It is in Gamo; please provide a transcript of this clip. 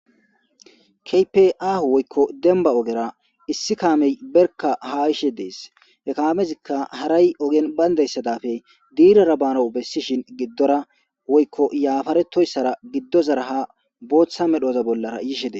Kehippe aho woyikko demiba ogera hemetiza issi kamey barika haa yishshe desi he kamezikka harayi ogeni bandayisa dappe dirara banawu besishin yaretoyisara giddozara haa botha medhdhoza bolara yishr desi